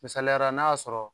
Misaliya ra n'a y'a sɔrɔ